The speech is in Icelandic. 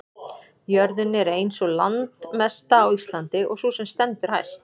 jörðin er ein sú landmesta á íslandi og sú sem stendur hæst